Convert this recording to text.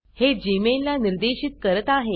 हे जीमेल ला निर्देशित करत आहे